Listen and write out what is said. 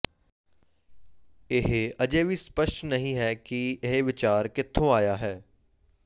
ਇਹ ਅਜੇ ਵੀ ਸਪੱਸ਼ਟ ਨਹੀਂ ਹੈ ਕਿ ਇਹ ਵਿਚਾਰ ਕਿੱਥੋਂ ਆਇਆ ਹੈ